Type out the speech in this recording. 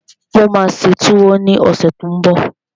Mo máa ṣe túwó ní ọ̀sẹ̀ tó n bọ̀